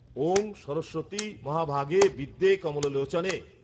ঔঁ সরস্বতী মহাভাগে বিদ্যে কমলোলোচনে